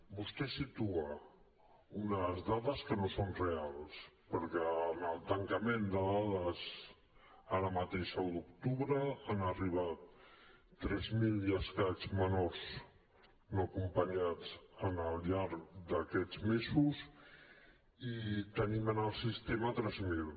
vostè situa unes dades que no són reals perquè en el tancament de dades ara mateix a u d’octubre han arribat tres mil i escaig menors no acompanyats al llarg d’aquests mesos i en tenim en el sistema tres mil